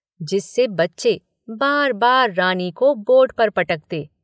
जिससे बच्चे बार-बार रानी को बोर्ड पर पटकते।